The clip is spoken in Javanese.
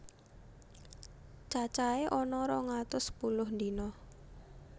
Cacahé ana rong atus sepuluh dina